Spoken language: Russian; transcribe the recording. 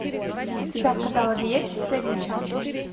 у тебя в каталоге есть последний час